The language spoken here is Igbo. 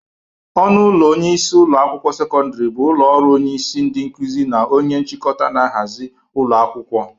Ọnụ ụlọ onyeisi ụlọ akwụkwọ sekọndịrị bụ ụlọ ọrụ onyeisi ndị nkụzi na onya nchịkọta n'ahazị ụlọ akwụkwọ